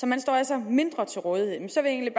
man står altså mindre til rådighed men så vil jeg